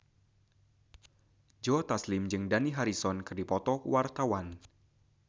Joe Taslim jeung Dani Harrison keur dipoto ku wartawan